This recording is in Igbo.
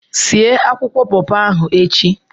Sie akwụkwọ pọpọ ahụ echi!